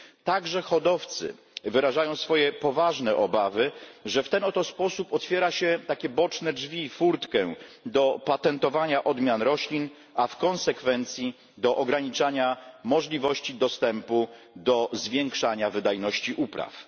Także hodowcy wyrażają swoje poważne obawy, że w ten oto sposób otwiera się takie boczne drzwi, furtkę, do patentowania odmian roślin, a w konsekwencji do ograniczania możliwości dostępu do zwiększania wydajności upraw.